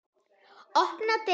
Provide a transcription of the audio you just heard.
Opnar dyrnar.